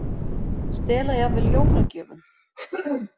Stela jafnvel jólagjöfum